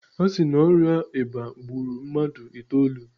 A si na ọrịa eba gburu mmadụ itoolu.